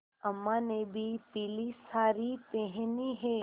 अम्मा ने भी पीली सारी पेहनी है